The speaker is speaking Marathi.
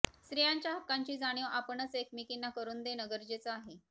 स्त्रियांच्या हक्कांची जाणीव आपणच एकमेकींना करून देणं गरजेचं आहे